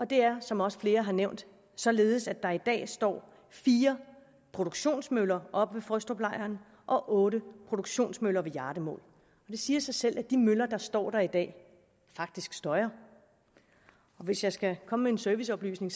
det er som også flere har nævnt således at der i dag står fire produktionsmøller oppe ved frøstruplejren og otte produktionsmøller ved hjardemål det siger sig selv at de møller der står der i dag faktisk støjer og hvis jeg skal komme med en serviceoplysning